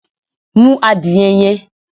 Mú adìyẹ yẹn!